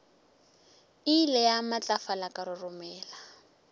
ile ya matlafala ka roromela